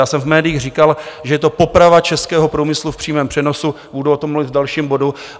Já jsem v médiích říkal, že je to poprava českého průmyslu v přímém přenosu, budu o tom mluvit v dalším bodu.